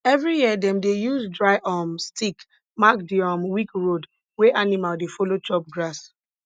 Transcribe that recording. every year dem dey use dry um stick mark di um weak road wey animal dey follow chop grass